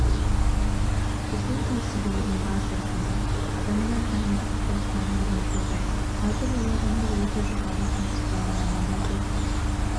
біздің кәсіпорын базасында адамдар дайындық курстарынан өтеді қазір ол адамдар өте жоғары кәсіби маман деп